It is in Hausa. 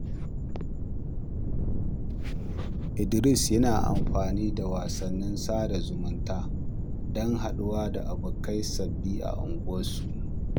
Idris yana amfani da wasannin sada zumunta don haɗuwa da abokai sabbi a unguwarsu.